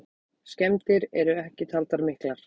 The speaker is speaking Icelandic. Skemmdir eru ekki taldar miklar.